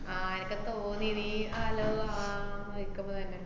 ആഹ് എനക്ക് തോന്നി നീ അലോ ആഹ് വക്കമ്പത്തന്നെ.